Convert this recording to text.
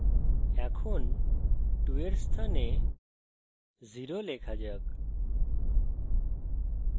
এখন 2 এর স্থানে 0 লেখা যাক